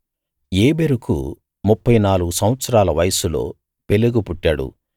ఏబెరుకు ముప్ఫై నాలుగు సంవత్సరాల వయస్సులో పెలెగు పుట్టాడు